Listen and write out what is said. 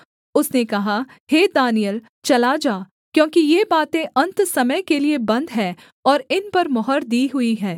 उसने कहा हे दानिय्येल चला जा क्योंकि ये बातें अन्त समय के लिये बन्द हैं और इन पर मुहर दी हुई है